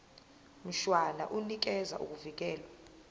mshwana unikeza ukuvikelwa